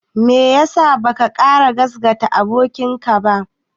Me ya sa baka ƙara gasgata abokinka ba?